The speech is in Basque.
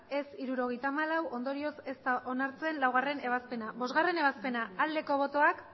ez hirurogeita hamalau ondorioz ez da onartzen laugarrena ebazpena bostgarrena ebazpena aldeko botoak